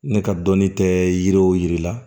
Ne ka dɔnni tɛ yiriw yiri la